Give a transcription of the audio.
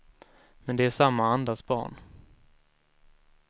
Men de är samma andas barn.